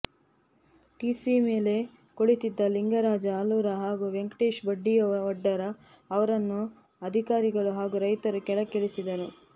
TC ಮೇಲೆ ಕುಳಿತಿದ್ದ ಲಿಂಗರಾಜ ಆಲೂರ ಹಾಗೂ ವೆಂಕಟೇಶ ಬಂಡಿವಡ್ಡರ ಅವರನ್ನು ಅಧಿಕಾರಿಗಳು ಹಾಗೂ ರೈತರು ಕೆಳಕ್ಕೆ ಇಳಿಸಿದರು